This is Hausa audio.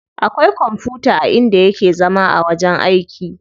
Akwai kwamfuta a inda yake zama a wajen aiki.